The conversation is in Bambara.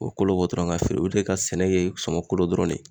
O be kolo bɔ dɔrɔn ka feere olu de ka sɛnɛ ye sɔmɔ kolo dɔrɔn de.